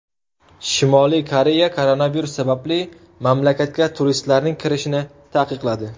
Shimoliy Koreya koronavirus sababli mamlakatga turistlarning kirishini taqiqladi.